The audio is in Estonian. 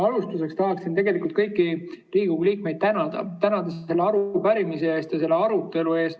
Alustuseks tahan kõiki Riigikogu liikmeid tänada selle arupärimise ja selle arutelu eest.